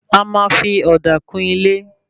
A máa fí òdà kún ilé